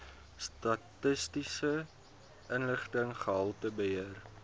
statistiese inligting gehaltebeheer